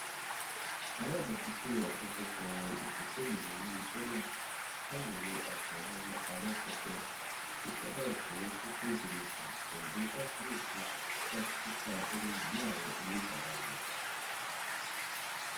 alábòójútó àkójọpọ ìdokoìnà iléiṣẹ náà ṣàyẹwò aṣàyàn amúpọpẹ tó ṣàbá jẹ tokenization pẹlú àkíyèsí láti túkà ohunini àwọn oníbàárà wọn